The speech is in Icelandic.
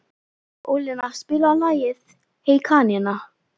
Ólína, spilaðu lagið „Hey kanína“.